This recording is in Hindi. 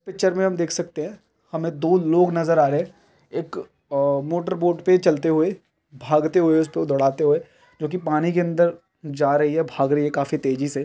पिक्चर में हम देख सकते हैं हमें दो लोग नजर आ रहें हैं एक अ मोटरबोट पे चलते हुए भागते हुए उसको दौड़ते हुए जो कि पानी के अंदर जा रही है भाग रही है काफी तेजी से।